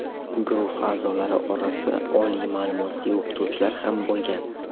Guruh a’zolari orasida oliy ma’lumotli o‘qituvchilar ham bo‘lgan.